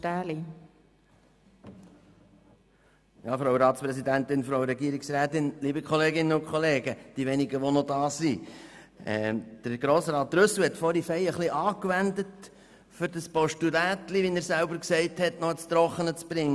Trüssel hat vorhin ziemlich angewendet, um sein «Postulätli», wie er es selber genannt hat, ins Trockene zu bringen.